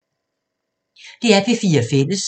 DR P4 Fælles